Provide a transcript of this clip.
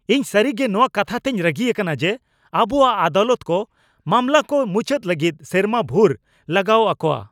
ᱤᱧ ᱥᱟᱹᱨᱤᱜᱮ ᱱᱚᱣᱟ ᱠᱟᱛᱷᱟᱛᱮᱧ ᱨᱟᱹᱜᱤ ᱟᱠᱟᱱᱟ ᱡᱮ ᱟᱵᱚᱣᱟᱜ ᱟᱫᱟᱞᱚᱛ ᱠᱚ ᱢᱟᱢᱞᱟ ᱠᱚ ᱢᱩᱪᱟᱹᱫ ᱞᱟᱹᱜᱤᱫ ᱥᱮᱨᱢᱟ ᱵᱷᱩᱨ ᱞᱟᱜᱟᱣ ᱟᱠᱚᱣᱟ ᱾